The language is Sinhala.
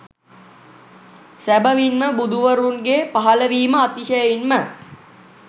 සැබැවින්ම බුදුවරුන්ගේ පහළ වීම අතිශයින්ම